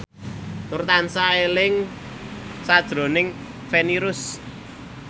Nur tansah eling sakjroning Feni Rose